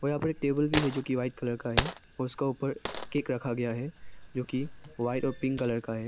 यहां पर एक टेबल भी है जो कि व्हाइट कलर का है उसका ऊपर केक रखा गया है जो कि वाइट और पिंक कलर का है।